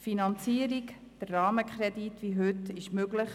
Die Finanzierung durch den Rahmenkredit ist gesetzlich möglich.